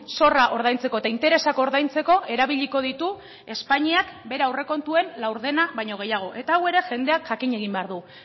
zorra ordaintzeko eta interesak ordaintzeko erabiliko ditu espainiak bere aurrekontuen laurdena baino gehiago eta hau ere jendeak jakin egin behar du